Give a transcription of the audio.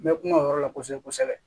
N bɛ kuma o yɔrɔ la kosɛbɛ kosɛbɛ